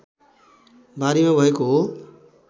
बारीमा भएको हो